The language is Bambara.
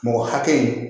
Mɔgɔ hakɛ